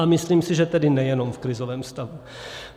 A myslím si, že tedy nejenom v krizovém stavu.